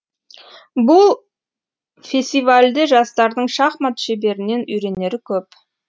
бұл фесивальде жастардың шахмат шеберінен үйренері көп